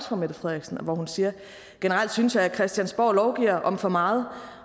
fru mette frederiksen hvor hun siger generelt synes jeg at christiansborg lovgiver om for meget